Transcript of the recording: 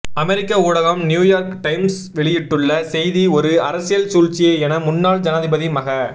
அமெரிக்க ஊடகம் New York Times வெளியிட்டுள்ள செய்தி ஒரு அரசியல் சூழ்ச்சியே என முன்னாள் ஜனாதிபதி மஹ